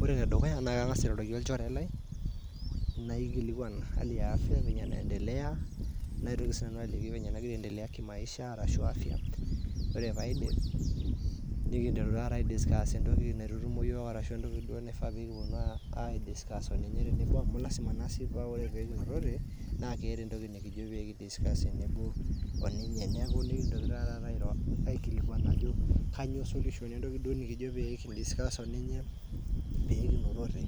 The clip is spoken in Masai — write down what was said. ore enedukuya nakang'asa airoroki olchore lai naikilikuna hali ya afya venye naiendelea naitoki sinanu aliki vile nagira aiendelea kimaisha ashu afya wore paidip nikinteru tata aimaki entoki naitutumo yiok ashu entoki duo aidscuss oninye tenebo amu lasima nasii wore pekinotote naa ketaa entoki nikijo aidiscuss tenebo oninye nikintoki natata airoo aikilikuana ajo kainyioo solution entoki nikijo duo kiro oninye pekinotote